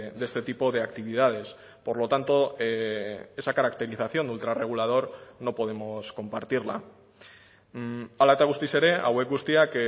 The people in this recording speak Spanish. de este tipo de actividades por lo tanto esa caracterización de ultra regulador no podemos compartirla hala eta guztiz ere hauek guztiak